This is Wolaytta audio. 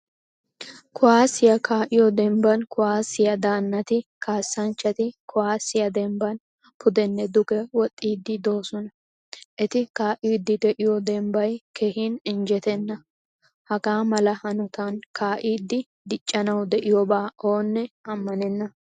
Kuwasiyaa ka'iyo dembban kuwasiya daanatti, kasanchchatti kuwasiya dembban pudenne dugge woxxidi deosona. Etti ka'idi de'iyo dembbay keehin injjettena. Hagamala hanottan ka'idi diccanawu de'iyoba oonne ammanenna.